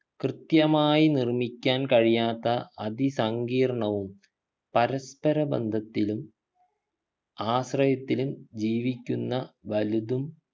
കൃത്യമായി നിർമിക്കാൻ കഴിയാത്ത അതിസങ്കീർണവും പരസ്പര ബന്ധത്തിലും ആശ്രയത്തിലും ജീവിക്കുന്ന വലുതും